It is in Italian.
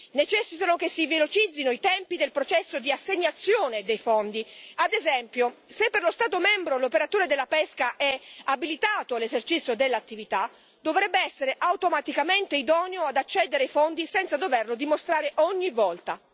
Necessitano che si velocizzino i tempi del processo di assegnazione dei fondi ad esempio, se per lo Stato membro l'operatore della pesca è abilitato all'esercizio dell'attività, dovrebbe essere automaticamente idoneo ad accedere ai fondi senza doverlo dimostrare ogni volta.